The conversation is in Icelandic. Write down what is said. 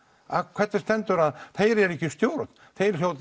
hvernig stendur að þeir eru ekki í stjórn þeir